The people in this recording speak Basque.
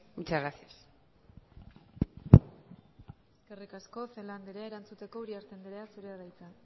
muchas gracias eskerrik asko celaá andrea erantzuteko uriarte andrea zurea da hitza